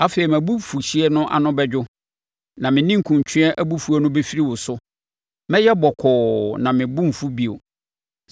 Afei mʼabufuhyeɛ ano bɛdwo na me ninkunutweɛ abufuo no bɛfiri wo so. Mɛyɛ bɔkɔɔ na mebo remfu bio.